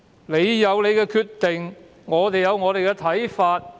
你有你的決定，我們有我們的看法。